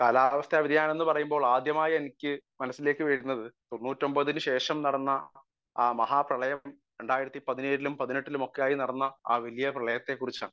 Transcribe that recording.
speaker 1 കാലാവസ്ഥ വ്യതിയാനം എന്ന് പറയുമ്പോൾ ആദ്യമായിട്ട് എനിക്ക് മനസ്സിൽ വരുന്നത് തൊണ്ണൂറ്റി ഒമ്പതിന് ശേഷം നടന്ന ആ മഹാപ്രളയം രണ്ടായിരത്തി പതിനേഴിലും പതിനെട്ടിലും നടന്ന ആ വലിയ പ്രളയത്തെ കുറിച്ചാണ്